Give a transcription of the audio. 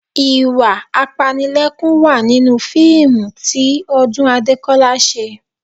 Ìwà apanilẹ́kún wà nínú fíìmù tí Ọdún Adékọ́lá ṣe